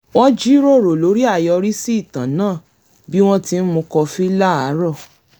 wọ́n jíròrò lórí àyorísí ìtàn náà bí wọ́n ti ń mu kọfí láàárọ̀